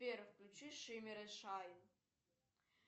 сбер включи шиммер и шайн